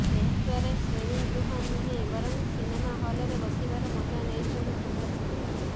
ଏହାଦ୍ବାରା ଶ୍ରେଣୀଗୃହ ନୁହେଁ ବରଂ ସିନେମା ହଲରେ ବସିବାର ମଜା ନେଇଥାଆନ୍ତି ଛାତ୍ରଛାତ୍ରୀ